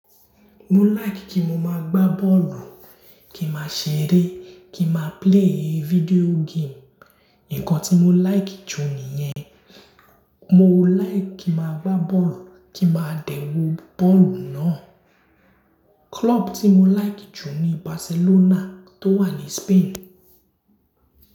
Mo like kí mo má gba bọ́ọ̀lù, kí má ṣere, kí má play video game. Nǹkan tí mo like jù nìyẹn. Mo like kí n má gba bọ́ọ̀lù, kí má dẹ̀ wó bọ́ọ̀lù náà. Club tí mo like jù ni Barcelona tó wà ní Spain.